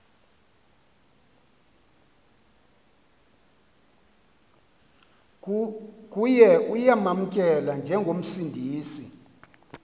kuye uyamamkela njengomsindisi